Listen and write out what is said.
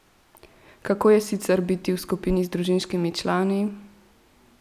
Kako je sicer biti v skupini z družinskimi člani?